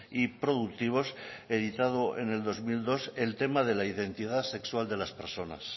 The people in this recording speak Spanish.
y productivos editado en el dos mil dos el tema de la identidad sexual de las personas